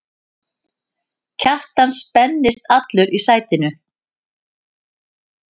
Kjartan spenntist allur í sætinu.